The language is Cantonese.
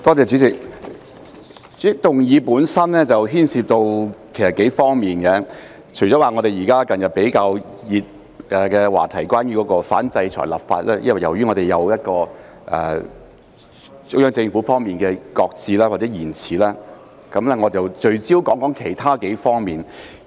主席，其實議案本身牽涉到數方面，除了近日比較熱門的話題，即反制裁立法，由於中央政府方面的擱置或延遲，我聚焦說說其他幾方面。